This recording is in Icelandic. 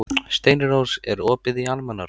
Steinrós, er opið í Almannaróm?